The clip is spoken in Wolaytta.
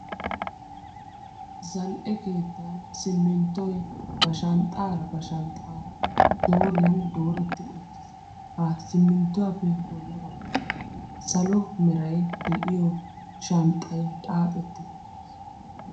zal"e keettan simminttoy ba shanxxaara ba shanxxaara dooriyan dooretti uttiis. ha simminttuwaappe bolla baggaara salo merai de'iyo shanxxay xaaxetti uttiis.